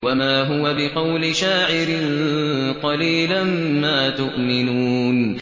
وَمَا هُوَ بِقَوْلِ شَاعِرٍ ۚ قَلِيلًا مَّا تُؤْمِنُونَ